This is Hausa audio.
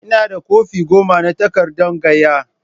Ina da kwafi goma na takardan gaiya.